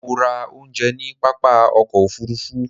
Mo ra oúnjẹ ní pápá ọkọ̀ òfurufú